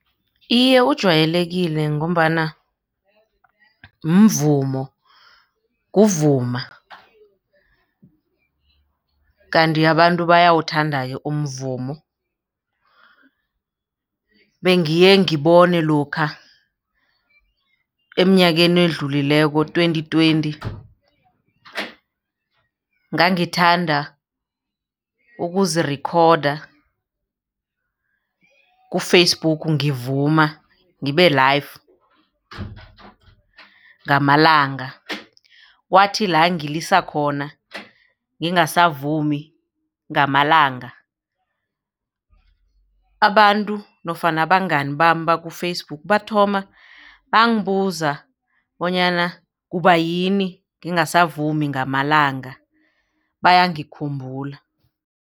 Iye, ujwayelekile ngombana mvumo kuvuma kanti abantu bayawuthanda-ke umvumo bengiye ngibone lokha eminyakeni edlulileko twenty twenty ngangithanda ukuzirikhoda ku-Facebook ngivuma ngibe-live ngamalanga kwathi la ngilisa khona ngingasavumi ngamalanga abantu nofana abangani bami baku-Facebook bathoma bangibuza bonyana kubayini ngingasavumi ngamalanga bayangikhumbula.